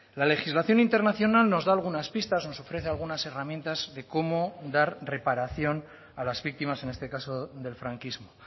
la legislación internacional nos da algunas pistas nos ofrece algunas herramientas de cómo dar reparación a las víctimas en este caso del franquismo